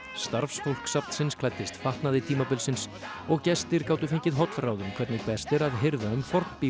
starfsfólk safnsins klæddist fatnaði tímabilsins og gestir gátu fengið hollráð um hvernig best er að hirða um